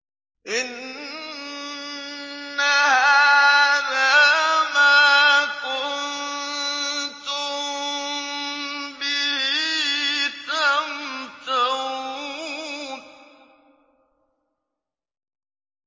إِنَّ هَٰذَا مَا كُنتُم بِهِ تَمْتَرُونَ